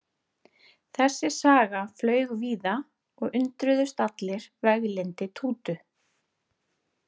Þessi saga flaug víða og undruðust allir veglyndi Tútu.